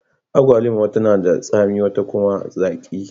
Agwalima wata na da tsami, wata kuma zaki.